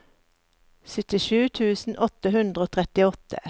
syttisju tusen åtte hundre og trettiåtte